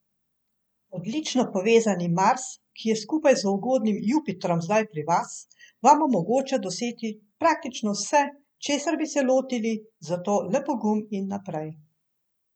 Odlično povezani Mars, ki je skupaj z ugodnim Jupitrom zdaj pri vas, vam omogoča doseči praktično vse, česar bi se lotili, zato le pogum in naprej.